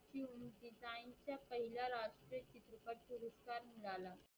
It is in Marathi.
मिळाला